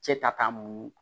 Cɛ ta ka mun